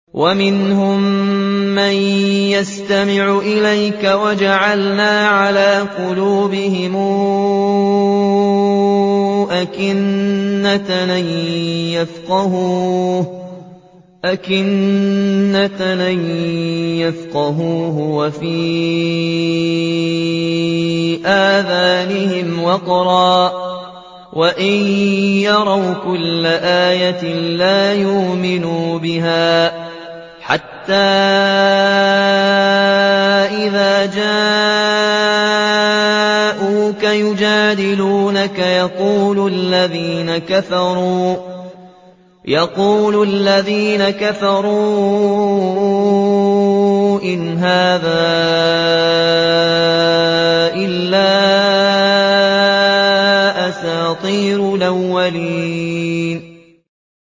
وَمِنْهُم مَّن يَسْتَمِعُ إِلَيْكَ ۖ وَجَعَلْنَا عَلَىٰ قُلُوبِهِمْ أَكِنَّةً أَن يَفْقَهُوهُ وَفِي آذَانِهِمْ وَقْرًا ۚ وَإِن يَرَوْا كُلَّ آيَةٍ لَّا يُؤْمِنُوا بِهَا ۚ حَتَّىٰ إِذَا جَاءُوكَ يُجَادِلُونَكَ يَقُولُ الَّذِينَ كَفَرُوا إِنْ هَٰذَا إِلَّا أَسَاطِيرُ الْأَوَّلِينَ